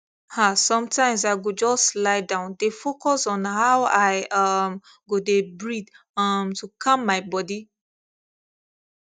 ah sometimes i go just lie down dey focus on how i um go dey breathe um to calm my body